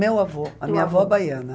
Meu avô, a minha avó baiana.